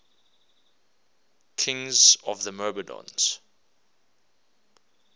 kings of the myrmidons